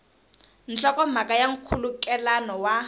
nhlokomhaka ya na nkhulukelano wa